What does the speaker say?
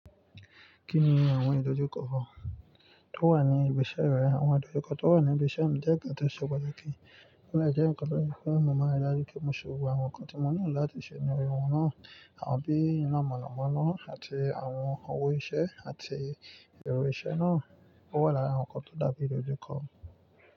Kí ni àwọn ìdojúkọ tó wà ní ibi iṣẹ́ rẹ? Àwọn ìdojúkọ tó wà ní ibi iṣẹ́ mi jẹ́ ǹkan tó ṣe pàtàkì. Ó de jẹ́ ǹkan tó ye fún mo maa rí daju pé mo ṣe gbogbo àwọn nǹkan tí mo nílo láti ṣe nínú aye wọn náà, àwon bí iná mọ̀nàmọ́ná àti àwọn òwò iṣẹ́ àti èrò iṣẹ́ náà. Ó wà lára àwọn nǹkan tó dá bí ìdojúkọ.